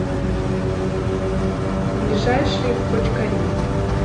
ближайший бочкари